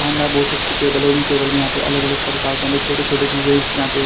बहुत सी अच्छी टेबल है और टेबल में यहां पे अलग-अलग प्रकार के छोटे-छोटे डिज़ाइंस के यहां पे--